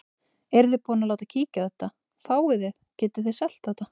Eruð þið búin að láta kíkja á þetta, fáið þið, getið þið selt þetta?